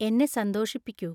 എന്നെ സന്തോഷിപ്പിക്കൂ